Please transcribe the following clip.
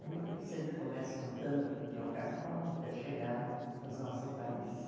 Aí eu sempre começo contando o que que é o carnaval até chegar nas nossas raízes.